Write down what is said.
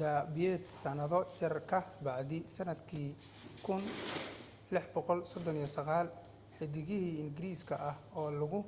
dabadeed sannado yar ka bacdii sannadkii 1639 xiddigiye ingiriis ah oo lagu